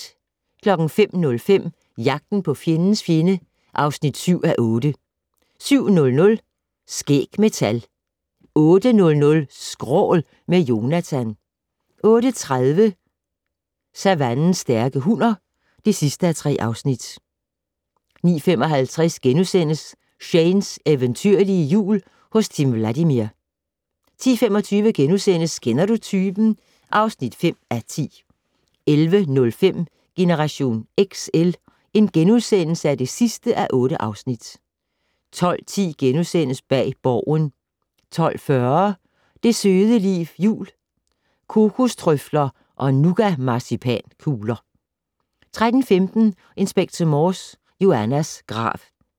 05:05: Jagten på fjendens fjende (7:8) 07:00: Skæg med tal 08:00: Skrål - med Jonatan 08:30: Savannens stærke hunner (3:3) 09:55: Shanes eventyrlige Jul hos Tim Vladimir * 10:25: Kender du typen? (5:10)* 11:05: Generation XL (8:8)* 12:10: Bag Borgen * 12:40: Det søde liv jul - Kokostrøfler og nougatmarcipankugler 13:15: Inspector Morse: Joannas grav